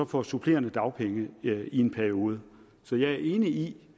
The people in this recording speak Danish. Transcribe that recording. få supplerende dagpenge i en periode så jeg er enig i